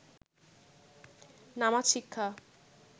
নামাজ শিক্ষা